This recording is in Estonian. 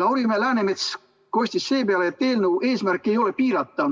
Lauri Läänemets kostis seepeale, et eelnõu eesmärk ei ole piirata